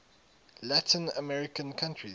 latin american countries